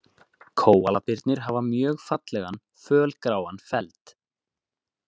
Kóalabirnir hafa mjög fallegan fölgráan feld.